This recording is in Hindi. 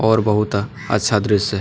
और बहुत अच्छा दृश्य है।